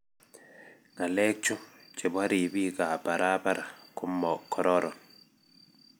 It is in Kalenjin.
ngalek chu chebo ribik ab barabara ko mo kororon